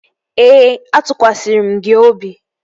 Ee, atụkwasịrị m gị obi